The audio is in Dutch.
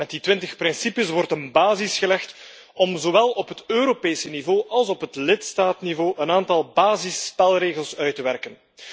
Met die 20 principes wordt een basis gelegd om zowel op het Europese niveau als op het lidstaatniveau een aantal basisspelregels uit te werken.